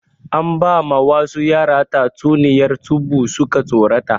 An ba ma wasu yara tatsuniyar tsubu suka tsorata